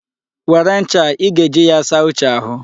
Were ncha a, ị ga-eji ya saa Uche ahụ.